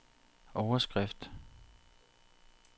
overskrift